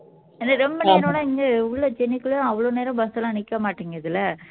ரொம்ப நேரமெல்லாம் நின்னு உள்ள சென்னைக்குள்ள அவ்ளோ நேரம் எல்லாம் நிக்க மாட்டேங்குதுல்ல